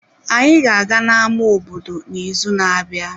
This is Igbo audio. Anyị ga-aga na-ámá obodo n'izu na-abịa.